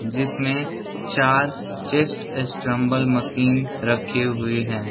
जिसमे चार चेस्ट स्ट्रम्बल मशीन रखी हुई हैं ।